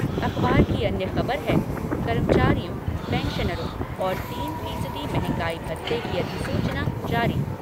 अखबार की अन्य ख़बर है कर्मचारियों, पैंशनरों को तीन फीसदी मंहगाई भत्ते की अधिसूचना जारी।